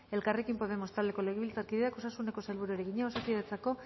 elkarrekin podemos taldeko legebiltzarkideak osasuneko sailburuari egina osakidetzako